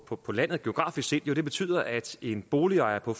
på på landet geografisk set det betyder at en boligejer på